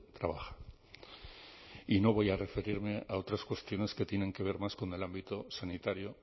trabaja y no voy a referirme a otras cuestiones que tienen que ver más con el ámbito sanitario